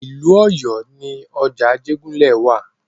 Ìlú Ọ̀yọ́ ni ọjà Ajégúnlẹ̀ wa.